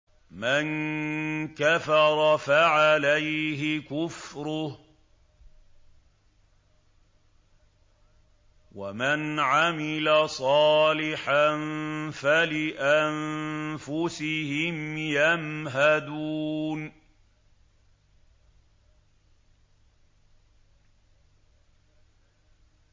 مَن كَفَرَ فَعَلَيْهِ كُفْرُهُ ۖ وَمَنْ عَمِلَ صَالِحًا فَلِأَنفُسِهِمْ يَمْهَدُونَ